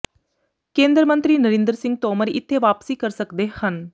ਕੇਂਦਰ ਮੰਤਰੀ ਨਰਿੰਦਰ ਸਿੰਘ ਤੋਮਰ ਇੱਥੇ ਵਾਪਸੀ ਕਰ ਸਕਦੇ ਹਨ